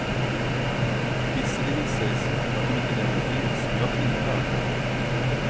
Visserligen sägs att de inte längre finns men jag tvivlar.